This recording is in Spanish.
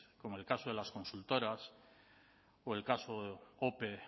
como el caso de las consultoras o el caso ope